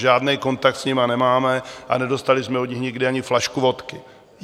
Žádný kontakt s nimi nemáme a nedostali jsme od nich nikdy ani flašku vodky.